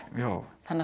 þannig að